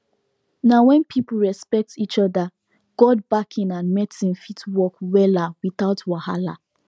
na when people respect each other god backing and medicine fit work wella without wahala